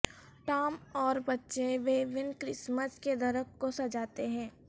Tom اور بچے Vivian Christmas کے درخت کو سجاتے ہیں